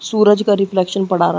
सूरज का रेफ्लेक्शन पड़ा रहा।